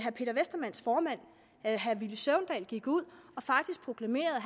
at herre villy søvndal gik ud og faktisk proklamerede